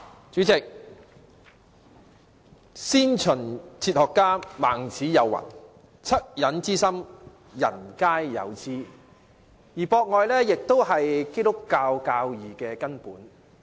主席，先秦哲學家孟子有云："惻隱之心，人皆有之"，"博愛"亦是基督教教義的根本。